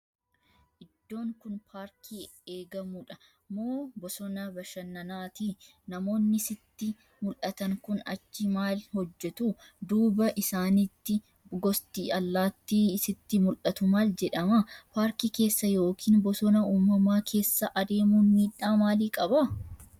Iddoon kun paarkii eegamudha moo bosona bashannanaati? Namoonni sitti mul'atan kun achii maal hojjetu? Duuba isaaniitti gosti allaattii sitti mul'atu maal jedhama? Paarkii keessa yookiin bosona uumamaa keessa adeemuun miidhaa maalii qaba?